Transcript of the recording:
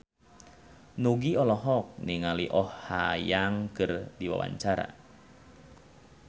Nugie olohok ningali Oh Ha Young keur diwawancara